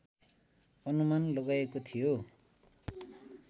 अनुमान लगाइएको थियो